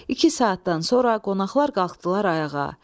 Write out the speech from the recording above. İki saatdan sonra qonaqlar qalxdılar ayağa.